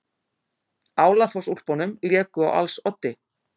Álafossúlpunum léku á als oddi.